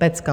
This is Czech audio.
Pecka!